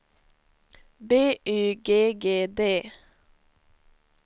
B Y G G D